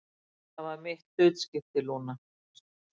Það var mitt hlutskipti, Lúna.